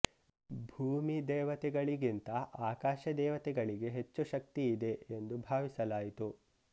ಭೂಮಿ ದೇವತೆಗಳಿಗಿಂತ ಆಕಾಶ ದೇವತೆಗಳಿಗೆ ಹೆಚ್ಚು ಶಕ್ತಿ ಇದೆ ಎಂದು ಭಾವಿಸಲಾಯಿತು